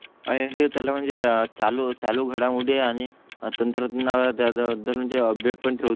आहे त्याला म्हणजे चालू चालू घडामोडी आणि तंत्र तुम्हाला त्यात भर म्हणजे अपडेट ठेवतो